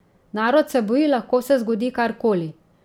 Narod se boji, lahko se zgodi kar koli.